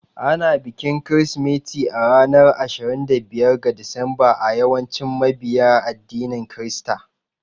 Ana bikin Kirsimeti a ranar Ashirin da biyar ga Disamba a yawancin mabiya addinin Kirista.